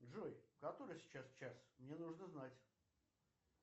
джой который сейчас час мне нужно знать